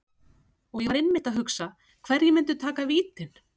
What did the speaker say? Og ég var einmitt að hugsa, hverjir myndu taka vítin?